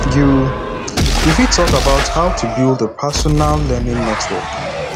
you you fit talk about how to build a personal learning network